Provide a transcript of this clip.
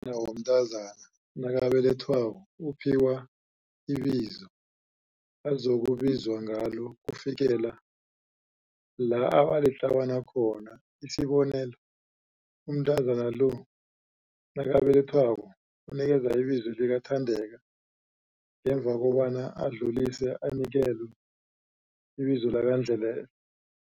womntazana nakabelethwako uphiwa ibizo azokubizwa ngalo ukufikela la abalitlawana khona. Isibonelo, umntazana lo nakabelethwako unikelwe ibizo likaThandeka, ngemva kobana adluliswe anikelwe ibizo likaNdlelehle.